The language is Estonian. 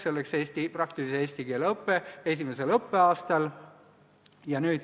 See oleks praktilise eesti keele õpe esimesel õppeaastal.